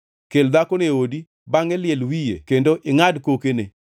Kel dhakono e odi, bangʼe liel wiye kendo ingʼad kokene,